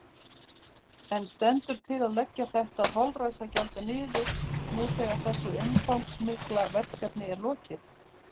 En stendur til að leggja þetta holræsagjald niður nú þegar þessu umfangsmikla verkefni er lokið?